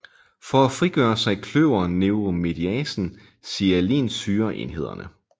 For at frigøre sig kløver neuramidasen sialinsyreenhederne